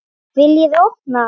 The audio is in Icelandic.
VILJIÐI OPNA!